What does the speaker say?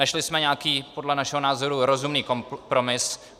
Našli jsme nějaký podle našeho názoru rozumný kompromis.